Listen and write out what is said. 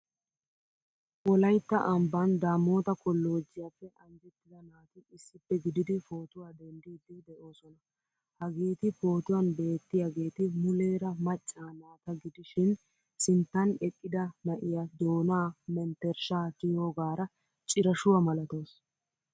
Wolaytta ambban Damota kollojjiyappe anjjettida naati issippe gididi pootuwaa denddidi deosona. Hageeti pootuwan beettiyageeti muleera maccaa naata gidishin sinttan eqqida na'iyaa doona mentershsha tiyogara cirashuwa malatawusu.